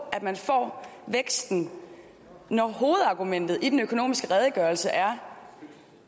at man får væksten når hovedargumentet i den økonomiske redegørelse er